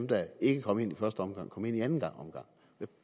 der ikke kom ind i første omgang kom ind i anden omgang jeg